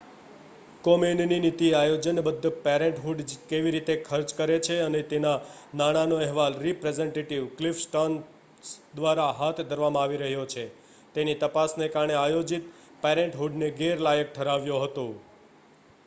કોમેનની નીતિએ આયોજનબદ્ધ પેરેન્ટહૂડ કેવી રીતે ખર્ચ કરે છે અને તેના નાણાંનો અહેવાલ રિપ્રેઝેન્ટેટિવ ક્લિફ સ્ટર્ન્સ દ્વારા હાથ ધરવામાં આવી રહ્યો છે તેની તપાસને કારણે આયોજિત પેરેન્ટહૂડને ગેરલાયક ઠરાવ્યો હતો